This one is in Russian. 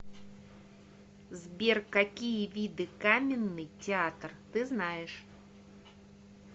сбер какие виды каменный театр ты знаешь